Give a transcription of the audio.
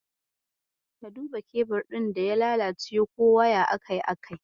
Ka duba kebir ɗin da ya lalace ko waya akai akai-akai.